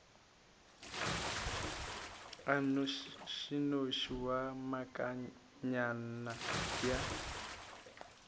a nnošinoši wa komangkanna ya